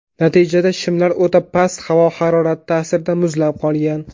Natijada shimlar o‘ta past havo harorati ta’sirida muzlab qolgan.